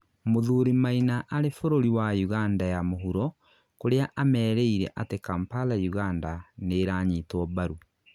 Mũthuri Maina arĩ bũrũri wa Uganda ya mũhuro kũria amerĩire atĩ Kampala Uganda, nĩiranyitwo mbarũ